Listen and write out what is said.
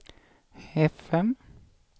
fm